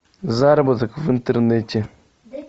заработок в интернете